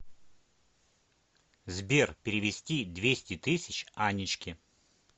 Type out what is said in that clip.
сбер перевести двести тысяч анечке